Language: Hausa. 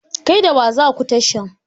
Kai da wa zaku tashan?